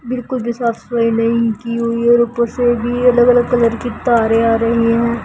बिलकुल भी साफ-सफाई नहीं की हुई है और ऊपर से भी अलग अलग कलर की तारे आ रही है।